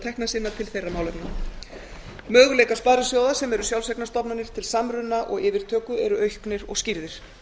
tekna sinna til þeirra málefna möguleikar sparisjóða sem eru sjálfseignarstofnanir til samruna og yfirtöku eru auknir og skýrðir